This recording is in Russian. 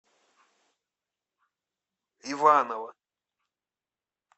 иваново